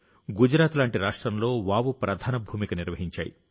గుజరాత్ లాంటి రాష్ట్రంలో వావ్ ప్రధాన భూమిక నిర్వహించాయి